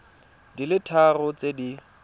di le tharo tse di